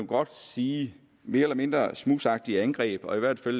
godt sige mere eller mindre smudsagtige angreb og i hvert fald